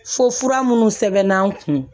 Fo fura minnu sɛbɛnna n kun